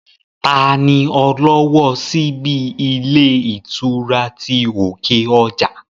Taa ni ọlọ́wọ́ ọ síbí ilé ìtura ti òkè ọjà?